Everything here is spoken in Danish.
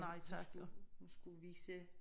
Hun skulle hun skulle vise